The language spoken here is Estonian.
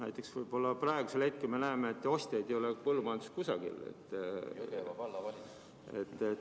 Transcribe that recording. Näiteks praegusel hetkel me näeme, et ostjaid nagu ei ole põllumajanduses kusagil.